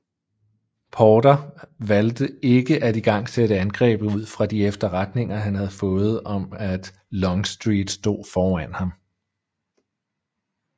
Porter valgte ikke at igangsætte angrebet ud fra de efterretninger han havde fået om at Longstreet stod foran ham